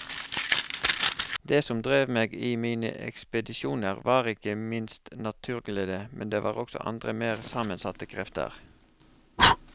Det som drev meg i mine ekspedisjoner var ikke minst naturglede, men det var også andre mer sammensatte krefter.